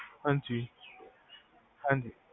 ਹਾਂਜੀ ਹਾਂਜੀ